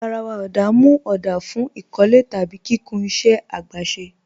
Garàwà ọ̀dá mú ọ̀dá fún ikọ̀lẹ̀ tàbí kíkùn ìṣẹ̀ agbèsè.